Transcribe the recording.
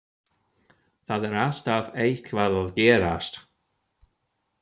Það er alltaf eitthvað að gerast.